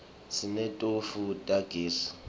sineti tofu tagezi